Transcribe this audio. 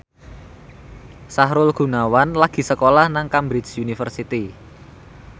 Sahrul Gunawan lagi sekolah nang Cambridge University